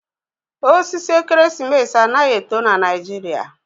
Osisi ekeresimesi anaghi eto na Naijiria.